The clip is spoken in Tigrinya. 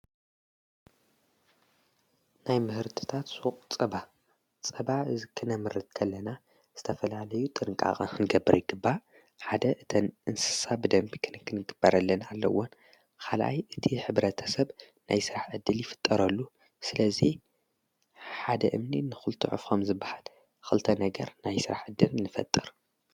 ናይ ምህርትታት ቕ ጸባ ጸባ ዝክነ ምርትከለና ዝተፈላለዩ ጥንቃቐ ንገብረ ኣይግባ ሓደ እተን እንስሳ ብደምቢ ክንክንግበረለን ኣለውን ኻልኣይ እቲ ኅብረተ ሰብ ናይ ሥራሕ እድል ይፍጠረሉ ስለዙይ ሓደ እምኒ ንዂልተዑፍ ኾም ዝበሃል ኽልተ ነገር ናይ ሥራሕ እድል ንፈጥር።